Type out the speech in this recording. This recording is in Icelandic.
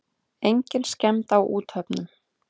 Engin skemmd á úthöfunum.